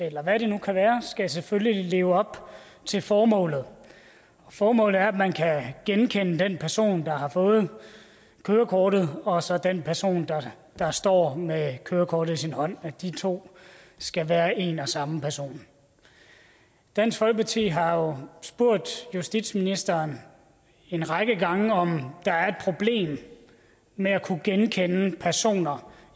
eller hvad det nu kan være skal selvfølgelig leve op til formålet og formålet er at man kan genkende den person der har fået kørekortet og så den person der står med kørekortet i sin hånd de to skal være en og samme person dansk folkeparti har jo spurgt justitsministeren en række gange om der er et problem med at kunne genkende personer